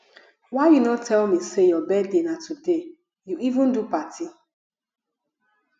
why you no tell me say your birthday na today you even do party